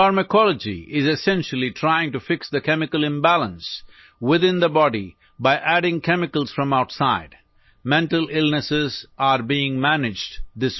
pharmacology بنیادی طور پر باہر سے کیمیکل ملاکر جسم کے اندر کیمیائی عدم توازن کو ٹھیک کرنے کی کوشش کرتی ہے